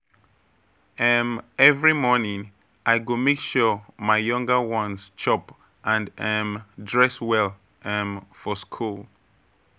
um Every morning, I go make sure my younger ones chop and um dress well um for school.